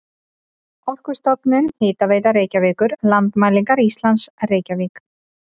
Orkustofnun, Hitaveita Reykjavíkur, Landmælingar Íslands, Reykjavík.